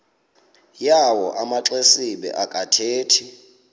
yawo amaxesibe akathethi